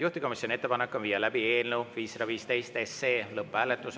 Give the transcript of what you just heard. Juhtivkomisjoni ettepanek on viia läbi eelnõu 515 lõpphääletus.